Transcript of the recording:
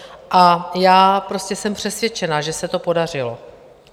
A já prostě jsem přesvědčena, že se to podařilo.